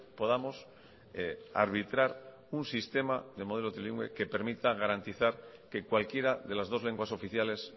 podamos arbitrar un sistema de modelo trilingüe que permita garantizar que cualquiera de las dos lenguas oficiales